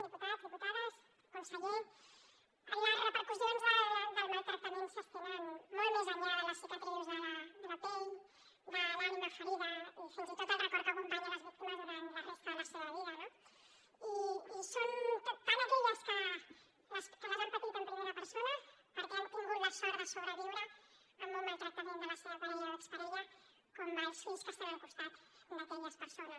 diputats diputades conseller les repercussions del maltractament s’estenen molt més enllà de les cicatrius de la pell de l’ànima ferida i fins i tot del record que acompanya les víctimes durant la resta de la seva vida no i són tant aquelles que les han patit en primera persona perquè han tingut la sort de sobreviure al maltractament de la seva parella o exparella com els fills que estan al costat d’aquelles persones